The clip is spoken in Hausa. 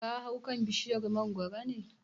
Ka hau kan bishiyar mangoro ne?